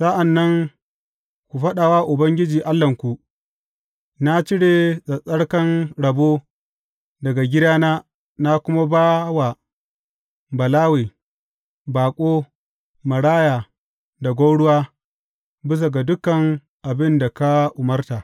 Sa’an nan ku faɗa wa Ubangiji Allahnku, Na cire tsattsarkan rabo daga gidana na kuma ba wa Balawe, baƙo, maraya da gwauruwa, bisa ga dukan abin da ka umarta.